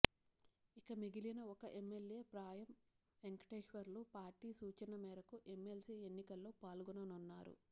ఇక మిగిలిన ఒక ఎమ్మెల్యే పాయం వెంకటేశ్వర్లు పార్టీ సూచన మేరకు ఎమ్మెల్సీ ఎన్నికల్లో పాల్గొననున్నారు